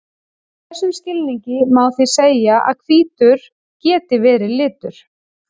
Í þessum skilningi má því segja að hvítur geti verið litur.